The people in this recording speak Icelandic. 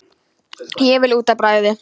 Ég vil út að bragði!